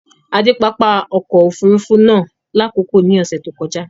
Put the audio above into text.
À dẹ pápá ọkọ̀ òfurufú naá lákọkọ ní ọṣẹ̀ tó kọja